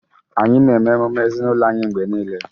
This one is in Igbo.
Anyị na-eme emume ezinụlọ anyị mgbe niile